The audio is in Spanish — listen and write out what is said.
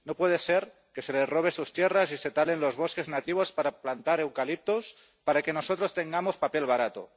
No puede ser que se les robe sus tierras y se talen los bosques nativos para plantar eucaliptos para que nosotros tengamos papel barato